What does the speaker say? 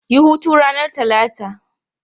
Yi hutu ranar Talata!